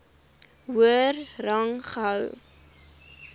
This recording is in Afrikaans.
hoër rang gehou